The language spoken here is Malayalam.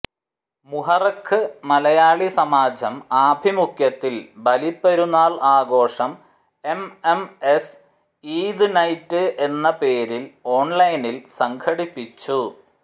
മുഹറഖ് മലയാളി സമാജം ആഭിമുഖ്യത്തിൽ ബലിപ്പെരുന്നാൽ ആഘോഷം M M S Eid night എന്ന പേരിൽ ഓൺലൈനിൽ സംഘടിപ്പിച്ചു